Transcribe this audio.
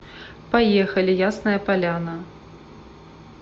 поехали ясная поляна